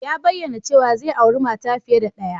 Ya bayyana cewa zai auri mata fiye da ɗaya